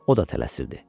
O da tələsirdi.